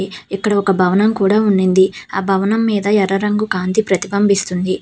ఇక్కడ ఒక భవనం కూడా ఉనింది ఆ భవనం మీద ఎర్ర రంగు కాంతి ప్రతిపంపిస్తుంది.